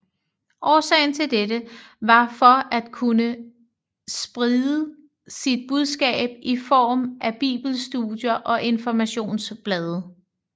Årsagen til dette var for at kunne spride sit budskab i form af Bibelstudier og informationsblade